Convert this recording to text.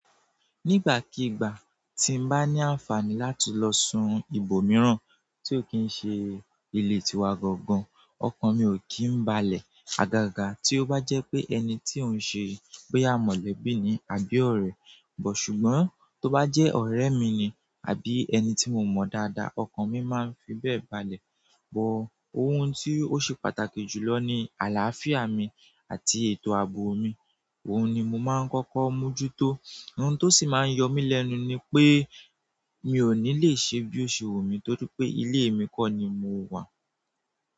Nígbàkigbà tí n bá ní àǹfààní láti lọ sun ibòmíràn tí ó kì í ṣe ilé tiwa gangan, ọkàn mi ò kí ń balẹ̀. Agaga tí ó bá jẹ́ pé ẹni tí ó ń ṣe pé boya mọ̀lẹ̀bí ni àbí ọ̀rẹ́. But ṣùgbọ́n tí ó bá jẹ́ ọ̀rẹ́ mi ni àbí ẹni tí mo mọ̀ dáadáa, ọkàn mi máa ń fi bẹ́ẹ̀ balẹ̀. But ohun tí ó ṣe pàtàkì jùlọ ni àlàáfíà mi àti ètò ààbò mi. Ohun ni mo máa ń kọ́kọ́ mójútó. Ohun tó sì máa ń yọ mí lẹ́nu ni pé mi ò ní lè ṣe bí ó ṣe wù mí torí pé ilé mi kọ́ ni mo wà.